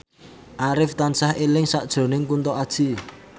Arif tansah eling sakjroning Kunto Aji